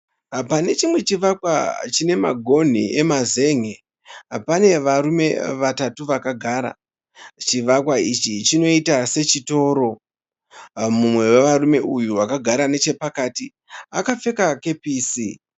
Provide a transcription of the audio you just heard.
Pane chimwe chivakwa chine magonhi emazen'e pane varume vatatu vakagara. Chivakwa ichi chinoita sechitoro. Mumwe wevarume uyu akagara nechapakati akapfeka kepisi.